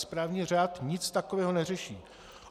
Správní řád nic takového neřeší.